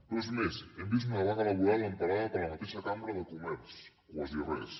però és més hem vist una vaga laboral emparada per la mateixa cambra de comerç quasi res